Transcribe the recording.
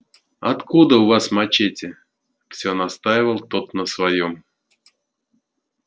откуда у вас мачете всё настаивал тот на своём